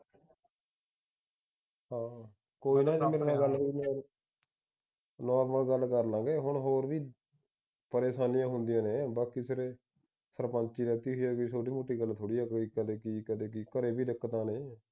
ਗੱਲ ਕਰਲਾਗੇ। ਹੁਣ ਹੋਰ ਵੀ ਪਰੇਸ਼ਾਨੀਆਂ ਹੁੰਦੀਆਂ ਨੇ ਬਾਕੀ ਸਿਰੇ ਸਰਪੰਚੀ ਜੀਤੀ ਸੀ ਏ ਕੋਈ ਛੋਟੀ ਮੋਟੀ ਗੱਲ ਥੋੜੀ ਆ ਕੋਈ ਕਦੇ ਕੀ ਕਦੇ ਕੀ ਘਰੇ ਵੀ ਦਿੱਕਤਾਂ ਨੇ